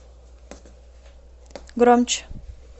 громче